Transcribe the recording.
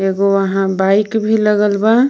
वहां बाइक भी लगल बा।